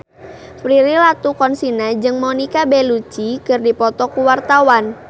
Prilly Latuconsina jeung Monica Belluci keur dipoto ku wartawan